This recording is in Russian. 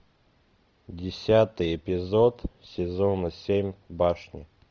десятый эпизод сезона семь башни